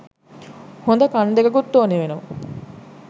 හොද කන් දෙකකුත් ඕනේ වෙනවා